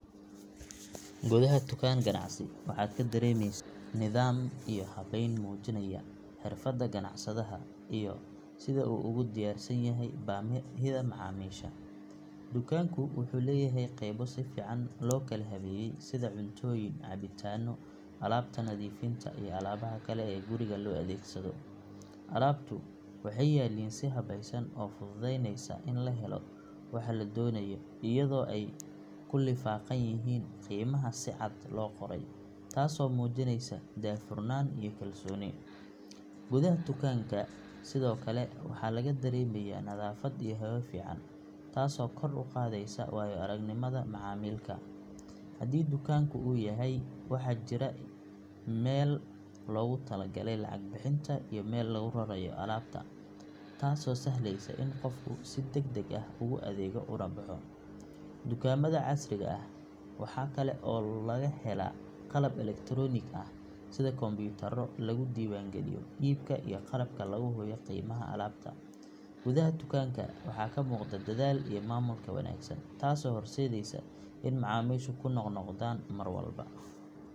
Gudaha tukaan ganacsi waxaad ka dareemaysaa nidaam iyo habeyn muujinaya xirfadda ganacsadaha iyo sida uu ugu diyaarsan yahay baahida macaamiisha. Dukaanku wuxuu leeyahay qaybo si fiican loo kala habeeyey sida cuntooyin, cabitaanno, alaabta nadiifinta, iyo alaabaha kale ee guriga loo adeegsado. Alaabtu waxay yaalliin si habeysan oo fududeynaysa in la helo waxa la doonayo iyadoo ay ku lifaaqan yihiin qiimaha si cad loo qoray taasoo muujinaysa daahfurnaan iyo kalsooni. Gudaha dukaanka sidoo kale waxaa laga dareemayaa nadaafad iyo hawo fiican taasoo kor u qaadaysa waayo-aragnimada macaamilka. Haddii dukaanku uu weyn yahay waxaa jira meel loogu talagalay lacag bixinta iyo meel lagu rarayo alaabta taasoo sahlaysa in qofku si degdeg ah ugu adeego una baxo. Dukaamada casriga ah waxaa kale oo laga helaa qalab elektaroonik ah sida kombiyuutarro lagu diiwaan geliyo iibka iyo qalabka lagu hubiyo qiimaha alaabta. Gudaha tukaanka waxaa ka muuqda dadaal iyo maamulka wanaagsan taasoo horseedaysa in macaamiishu ku noq-noqdaan mar walba.